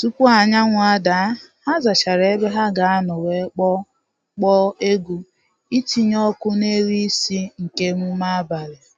Tupu anyanwụ ada, ha zachara ebe ha ga anọ wee kpọọ kpọọ egwu itinye ọkụ n’elu isi nke emume abalị